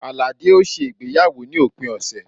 Alade ó ṣe ìgbéyàwó ní òpin ọ̀sẹ̀